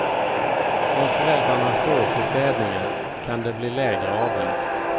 Om föräldrarna står för städningen kan det bli lägre avgift.